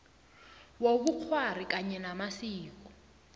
wobukghwari kanye namasiko